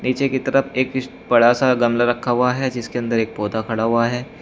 नीचे की तरफ एक बड़ा सा गमला रखा हुआ है जिसके अंदर एक पौधा खड़ा हुआ है।